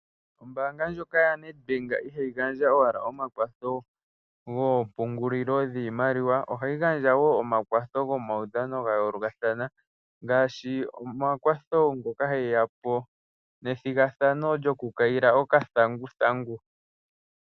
Ombaanga yoNedbank ihayi gandja owala omakwatho gompungulilo dhoshimaliwa ihe ohayi gandja wo omakwatho gomaudhano ya ongaashi uudhano mbono wethigathano wokukayila okathanguthangu.